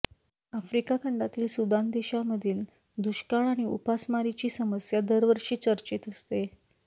Africa खंडातील Sudan देशामधील दुष्काळ आणि उपासमारीची समस्या दरवर्षी चर्चेत असते